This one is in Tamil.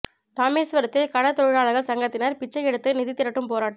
ராமேசுவரத்தில் கடல் தொழிலாளா்கள் சங்கத்தினா் பிச்சை எடுத்து நிதி திரட்டும் போராட்டம்